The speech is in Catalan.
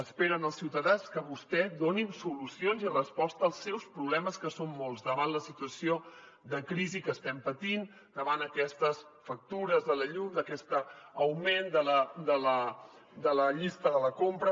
esperen els ciutadans que vostès donin solucions i resposta als seus problemes que són molts davant la situació de crisi que estem patint davant aquestes factures de la llum d’aquest augment de la llista de la compra